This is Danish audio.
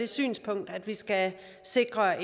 det synspunkt at vi skal sikre